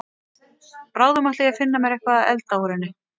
Bráðum ætla ég að finna mér eitthvað að elda úr henni.